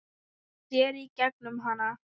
Sér í gegnum hana.